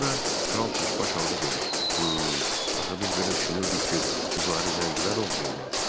Sonra kral çaşbaş halda dedi: Axı biz belə düşünürdük ki, qızları zəncilər oğurlayıblar.